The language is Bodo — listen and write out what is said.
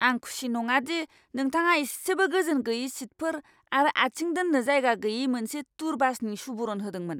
आं खुसि नङा दि नोंथाङा इसेबो गोजोन गैयै सिटफोर आरो आथिं दोननो जायगा गैयै मोनसे टुर बासनि सुबुरुन होदोंमोन!